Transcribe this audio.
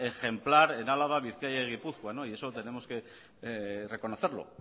ejemplar en álava bizkaia gipuzkoa no y eso tenemos que reconocerlo